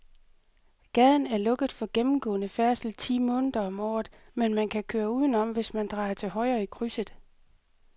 Gaden er lukket for gennemgående færdsel ti måneder om året, men man kan køre udenom, hvis man drejer til højre i krydset.